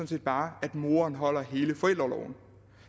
set bare at moderen holder hele forældreorloven